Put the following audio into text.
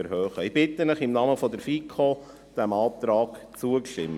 Ich bitte Sie im Namen der FiKo, dem Antrag zuzustimmen.